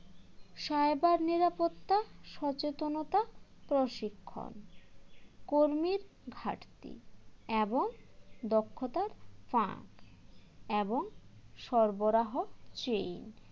cyber নিরাপত্তা সচেতনতা প্রশিক্ষণ কর্মীর ঘাটতি এবং দক্ষতার ফাঁক এবং সরবরাহ chain